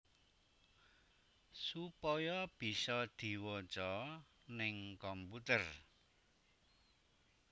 Supaya bisa diwaca ning komputer